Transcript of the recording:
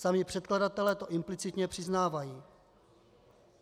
Sami předkladatelé to implicitně přiznávají.